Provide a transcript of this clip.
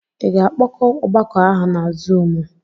I ga-akpọkọ ọgbakọ ahụ na Zuumu?